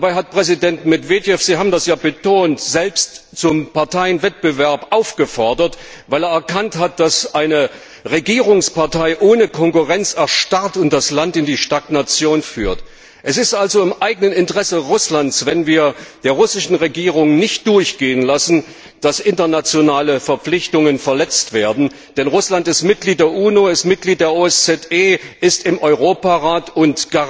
Und dabei hat Präsident Medwedew Sie haben das ja betont selbst zum Parteienwettbewerb aufgefordert, weil er erkannt hat, dass eine Regierungspartei ohne Konkurrenz erstarrt und das Land in die Stagnation führt. Es ist also im eigenen Interesse Russlands, wenn wir der russischen Regierung nicht durchgehen lassen, dass internationale Verpflichtungen verletzt werden, denn Russland ist Mitglied der UNO, ist Mitglied der OSZE, ist im Europarat, und